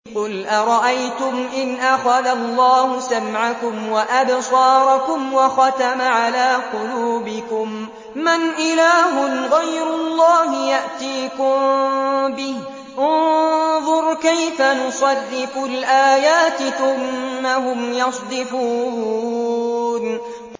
قُلْ أَرَأَيْتُمْ إِنْ أَخَذَ اللَّهُ سَمْعَكُمْ وَأَبْصَارَكُمْ وَخَتَمَ عَلَىٰ قُلُوبِكُم مَّنْ إِلَٰهٌ غَيْرُ اللَّهِ يَأْتِيكُم بِهِ ۗ انظُرْ كَيْفَ نُصَرِّفُ الْآيَاتِ ثُمَّ هُمْ يَصْدِفُونَ